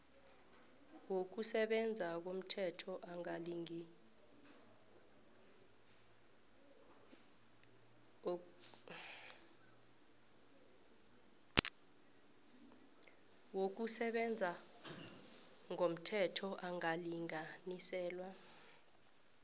wokusebenza ngomthetho angalinganiselwa